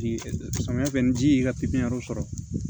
Samiya fɛ ni ji y'i ka sɔrɔ